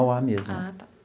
Mauá mesmo. Ah tá.